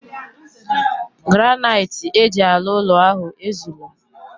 Granniite eji alu ulo ahu ezulo.